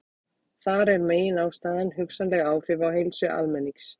Þar er meginástæðan hugsanleg áhrif á heilsu almennings.